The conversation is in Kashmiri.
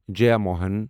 جیاموہن